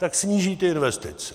Tak sníží ty investice.